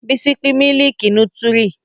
Bísí pin mílìkì nútírì